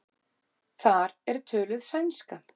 Þar er töluð sænska.